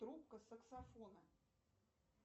трубка саксофона